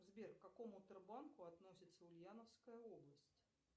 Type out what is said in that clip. сбер к какому тербанку относится ульяновская область